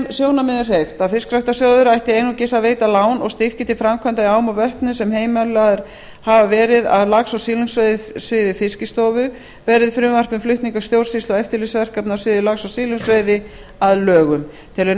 sjónarmiðum hreyft að fiskræktarsjóður ætti einungis að veita lán og styrki til framkvæmda í ám og vötnum sem heimilaðar hafa verið af lax og silungsveiðisviði fiskistofu verði frumvarp um flutning stjórnsýslu og eftirlitsverkefna á sviði lax og silungsveiði að lögum telur nefndin